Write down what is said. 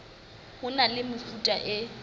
ho na le mefuta e